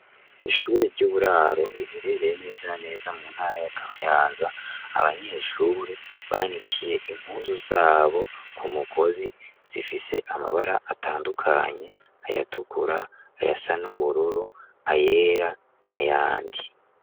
Ishure ry'uburaro biherereye neza neza mu ntara ya kamayanza abanyeshure banikiye impuzu zabo ku mugozi zifise amabara atandukanye ayatukura ayasa n'ubururu ayera na yandi.